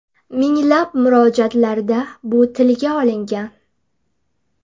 Minglab murojaatlarda bu tilga olingan.